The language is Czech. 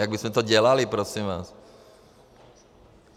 Jak bychom to dělali, prosím vás?